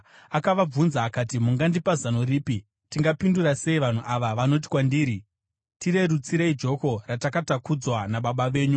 Akavabvunza akati, “Mungandipa zano ripi? Tingapindura sei vanhu ava vanoti kwandiri, ‘Tirerutsirei joko ratakatakudzwa nababa venyu?’ ”